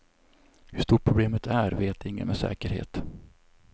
Hur stort problemet är vet ingen med säkerhet.